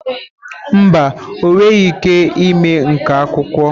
Mba, ọ nweghị ike ịme nkà akwụkwọ.